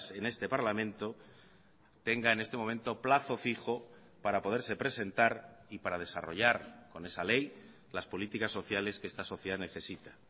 en este parlamento tenga en este momento plazo fijo para poderse presentar y para desarrollar con esa ley las políticas sociales que esta sociedad necesita